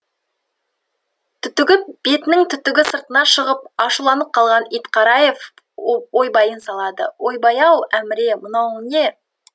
түтігіп бетінің түгі сыртына шығып ашуланып алған итқараев ойбайын салады ойбай ау әміре мынауың не